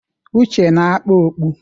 Uche na-akpa okpu.